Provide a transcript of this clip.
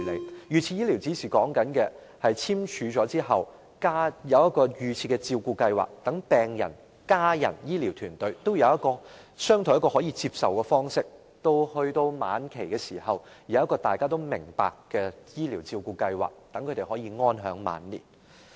如果預設醫療指示在簽署時加入預設照顧計劃，病人、家人和醫療團隊便可商討一個可接受的方式，令病人在晚期時有一個大家也明白的醫療照顧計劃，讓長者安享晚年。